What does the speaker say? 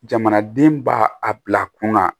Jamanaden b'a a bila kunna